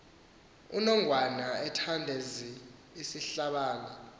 unongwan ethandazel isihlabane